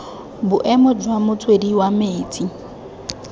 boemo jwa motswedi wa metsi